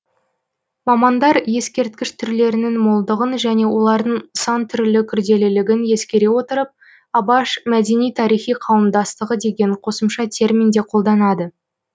мамандар ескерткіш түрлерінің молдығын және олардың сан түрлі күрделілігін ескере отырып абаш мәдени тарихи қауымдастығы деген қосымша термин де қолданады